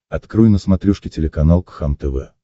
открой на смотрешке телеканал кхлм тв